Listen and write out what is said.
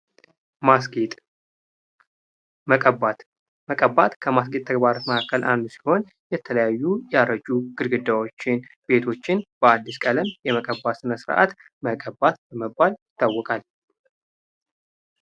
ማስጌጥ መቀባት መቀባት ከማስጌጥ ተግባራት መካከል አንዱ ሲሆን የተለያዩ ያረጁ ግርግዳዎችን ቤቶችን በአዲስ ቀለም የመቀባት ስርአት መቀባት በመባል ይታወቃል::